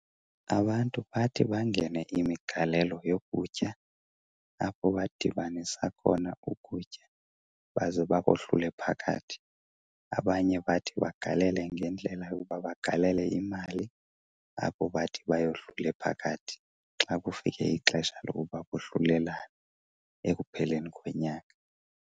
Abantu bathi bangene imigalelo yokutya apho badibanisa khona ukutya baze bakohlule phakathi. Abanye bathi bagalele ngendlela yokuba bagalele imali apho bathi bayohlule phakathi xa kufike ixesha lokuba bohlulelane ekupheleni konyaka.